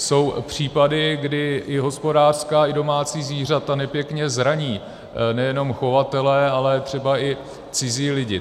Jsou případy, kdy i hospodářská i domácí zvířata nepěkně zraní nejenom chovatele, ale třeba i cizí lidi.